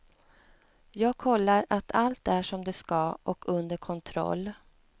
Jag kollar att allt är som det ska och under kontroll.